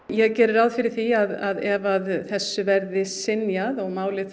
ég geri ráð fyrir því að ef þessu verður synjað og málið